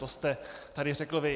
To jste tady řekl vy.